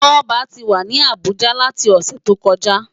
Toba ti wá ni Abuja láti òsè tókòjá